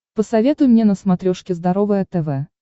посоветуй мне на смотрешке здоровое тв